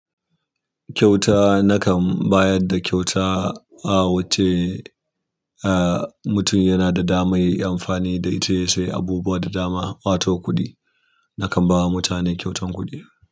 Kyauta nakan bayar da kyauta. A wacce ah in mutum ya na da dama yayi amfani da ita ya sayi abubuwa da dama wato kuɗi. Nakan ba wa mutane kyautan kuɗi.